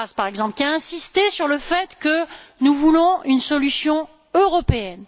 Karas, par exemple, qui a insisté sur le fait que nous voulions une solution européenne.